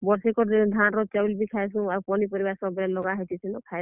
ବର୍ଷେକର୍ ଧାନ୍ ର, ଚାଉଲ୍ ବି ଖାଏସୁଁ, ଆଉ ପନିପରିବା ସବୁବେଲେ ଲଗା ହେଇଥିସି ନ ଖାଏସୁଁ।